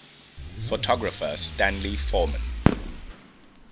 photographer stanley forman